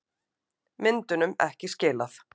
Myndunum ekki skilað